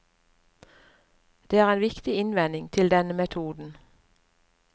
Det er en viktig innvending til denne metoden.